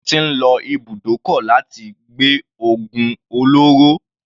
Wọ́n ti ń lo ibùdókọ̀ láti gbé ògùn olóró.